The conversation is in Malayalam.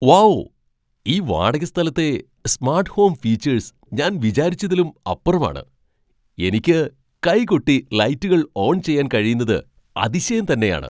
വൗ ഈ വാടകസ്ഥലത്തെ സ്മാട്ട് ഹോം ഫീച്ചേഴ്സ് ഞാൻ വിചാരിച്ചതിലും അപ്പുറമാണ്. എനിക്ക് കൈകൊട്ടി ലൈറ്റുകൾ ഓൺ ചെയ്യാൻ കഴിയുന്നത് അതിശയം തന്നെയാണ് !